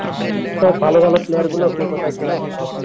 সব ভালো ভালো player গুলো কে কোথায় ছিল